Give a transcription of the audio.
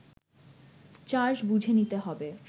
charge বুঝে নিতে হবে